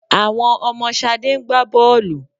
Àwọn ọmọ Ṣadé ń gbá bọ́ọ̀lù.